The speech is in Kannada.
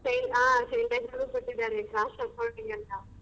ಆ ಕೊಟ್ಟಿದ್ದಾರೆ class .